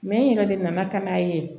n yɛrɛ de nana ka n'a ye